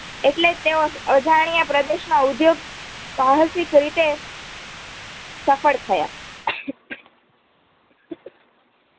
એટલે તે અ અજાણીયા પ્રદેશમાં ઉદ્યોગ સાહસીકરીતે સફળ થયા